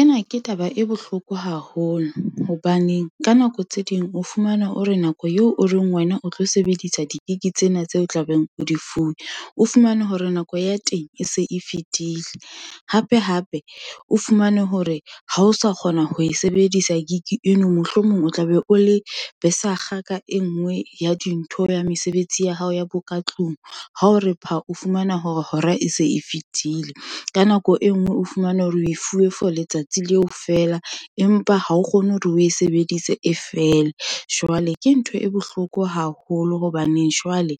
Ena ke taba e bohloko haholo, hobaneng ka nako tse ding o fumana o re nako yeo o reng wena o tlo sebedisa di-gig tsena, tseo tla beng o di fuwe, o fumane hore nako ya teng e se e fetile, hape hape o fumane hore ha o sa kgona ho e sebedisa gig eno, mohlomong o tla be o le besakga ka e nngwe ya dintho, ya mesebetsi ya hao ya bo ka tlung. Ha o re pha, o fumana hore hora e se e fetile, ka nako e nngwe, o fumana hore o fuwe for letsatsi leo feela, empa ha o kgone hore o e sebedise e fele. Jwale ke ntho e bohloko haholo, hobaneng jwale